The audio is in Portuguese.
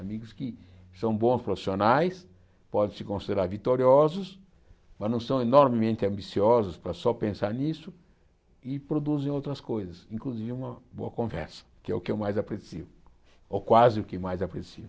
Amigos que são bons profissionais, podem se considerar vitoriosos, mas não são enormemente ambiciosos para só pensar nisso e produzem outras coisas, inclusive uma boa conversa, que é o que eu mais aprecio, ou quase o que mais aprecio.